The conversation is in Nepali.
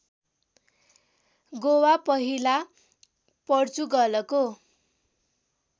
गोवा पहिला पोर्चुगलको